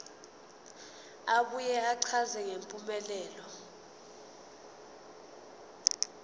abuye achaze ngempumelelo